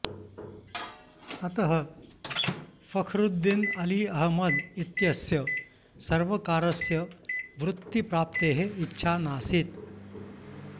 अतः फखरुद्दीन अली अहमद इत्यस्य सर्वकारस्य वृत्तिप्राप्तेः इच्छा नासीत्